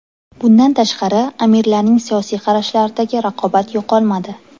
Bundan tashqari, amirlarning siyosiy qarashlaridagi raqobat yo‘qolmadi.